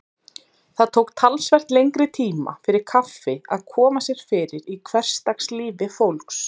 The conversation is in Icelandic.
Það tók talsvert lengri tíma fyrir kaffi að koma sér fyrir í hversdagslífi fólks.